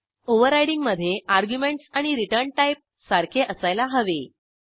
overriding मधे arguments आणि return type सारखे असायला हवे